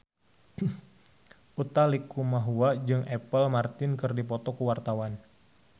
Utha Likumahua jeung Apple Martin keur dipoto ku wartawan